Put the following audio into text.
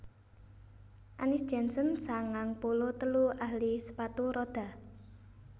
Annis Jensen sangang puluh telu ahli sepatu rodha